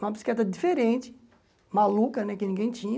Uma bicicleta diferente, maluca né, que ninguém tinha.